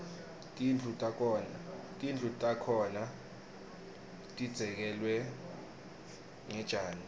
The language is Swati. tindlu takhona tidzekelwe ngetjani